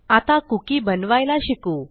आता कुकी बनवायला शिकू